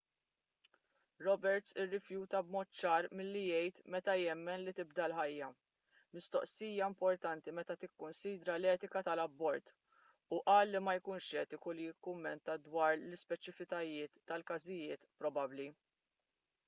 roberts irrifjuta b'mod ċar milli jgħid meta jemmen li tibda l-ħajja mistoqsija importanti meta tikkunsidra l-etika tal-abort u qal li ma jkunx etiku li jikkummenta dwar l-ispeċifiċitajiet tal-każijiet probabbli